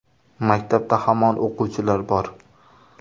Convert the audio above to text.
Maktabda hamon o‘quvchilar bor.